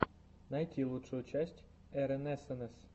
найти лучшую часть эрэнэсэнэс